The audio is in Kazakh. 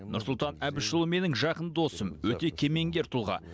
нұрсұлтан әбішұлы менің жақын досым өте кемеңгер тұлға